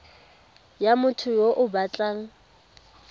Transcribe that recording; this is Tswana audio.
ya motho yo o batlang